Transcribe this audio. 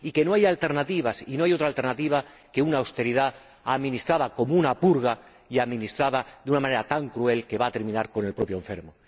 Y que no hay alternativas, que no hay otra alternativa que una austeridad administrada como una purga y administrada de una manera tan cruel que va a terminar con el propio enfermo.